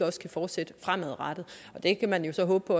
også kan fortsætte fremadrettet og det kan man jo så håbe